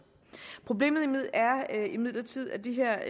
problemet er imidlertid at de her